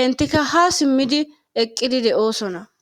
entikka ha simmidi eqqidi de'osona.